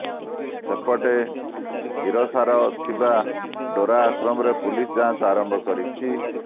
ସେପଟେ ସିରସାରେ ଥିବା ଡେରା ଆଶ୍ରମରେ ପୁଲିସ ଯାଞ୍ଚ ଆରମ୍ଭ କରିଛି